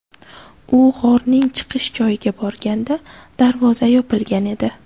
U g‘orning chiqish joyiga borganda darvoza yopilgan edi.